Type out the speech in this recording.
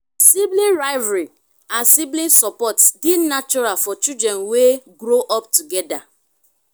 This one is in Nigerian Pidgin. sibling rivalry and sibling support de natural for children wey grow up together